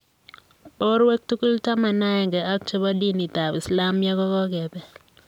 Borwek tugul 11 ak che bo dinitab islamiek kokebeel.